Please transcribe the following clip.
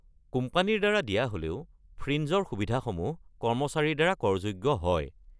কোম্পানীৰ দ্বাৰা দিয়া হ'লেও, ফ্ৰিঞ্জৰ সুবিধাসমূহ কৰ্মচাৰীৰ দ্বাৰা কৰযোগ্য হয়।